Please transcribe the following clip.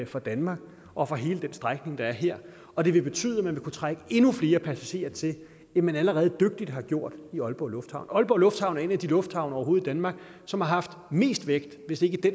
for danmark og for hele den strækning der er her og det vil betyde at man vil kunne trække endnu flere passagerer til end man allerede dygtigt har gjort i aalborg lufthavn aalborg lufthavn er en af de lufthavne i danmark som har haft mest vækst hvis ikke det